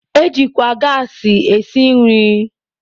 Ejikwa gaasị esi nri.